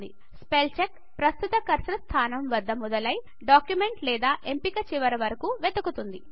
spell check ప్రస్తుత cursor స్థానం వద్ద మొదలై డాక్యుమెంట్ లేదా ఎంపిక చివర వరకు వెదుకుతుంది